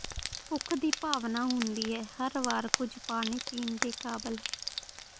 ਭੁੱਖ ਦੀ ਭਾਵਨਾ ਹੁੰਦੀ ਹੈ ਹਰ ਵਾਰ ਕੁਝ ਪਾਣੀ ਪੀਣ ਦੇ ਕਾਬਲ ਹੈ